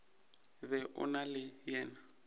be o na le yena